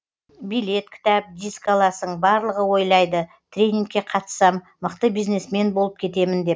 билет кітап диск аласың барлығы ойлайды тренингке қатыссам мықты бизнесмен болып кетемін деп